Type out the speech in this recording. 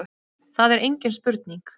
Það er engin spurning